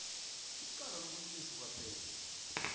icala lobulelesi kwaphela